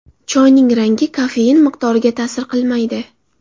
Choyning rangi kofein miqdoriga ta’sir qilmaydi.